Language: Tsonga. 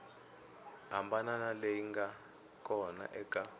hambana leyi nga kona eka